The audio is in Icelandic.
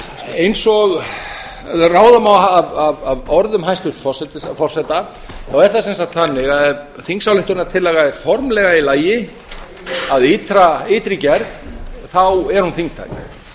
eins og ráða má af orðum hæstvirts forseta er það sem sagt þannig að ef þingsályktunartillaga er formlega í lagi að ytri gerð er hún þingtæk